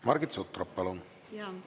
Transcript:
Margit Sutrop, palun!